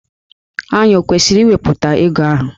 Ànyị ọ kwesịrị iwepụta ego ahụ?